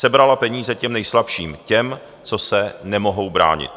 Sebrala peníze těm nejslabším, těm, co se nemohou bránit.